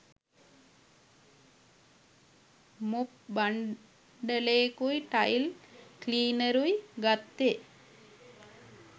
Mop බන්ඩලේකුයි tile ක්ලීනරුයි ගත්තෙ.